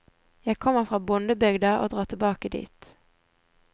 Jeg kommer fra bondebygda og drar tilbake dit.